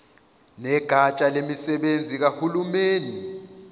negatsha lemisebenzi kahulumeni